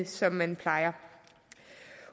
som man plejer